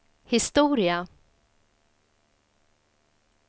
historia